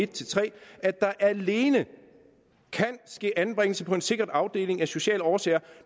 tre at der alene kan ske anbringelse på en sikret afdeling af sociale årsager